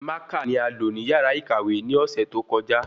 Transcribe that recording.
Mákà ni a lo ni yàrá ìkàwé ni ọsẹ tó kọjá